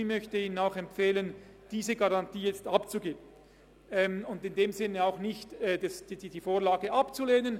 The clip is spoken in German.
Ich möchte Ihnen empfehlen, diese Garantie abzugeben und die Vorlage nicht abzulehnen.